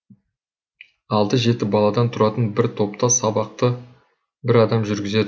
алты жеті баладан тұратын бір топта сабақты бір адам жүргізеді